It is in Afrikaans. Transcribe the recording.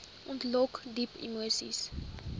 ontlok diep emoseis